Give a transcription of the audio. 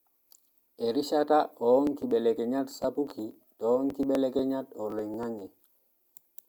Erishata oonkibelekenyat sapuki toonkibeleknyat oloingange.